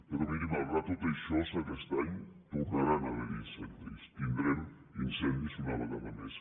però miri malgrat tot això aquest any tornaran a ha·ver·hi incendis tindrem incendis una vegada més